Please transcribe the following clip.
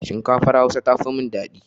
Shinkafar Hausa tafi min dadi.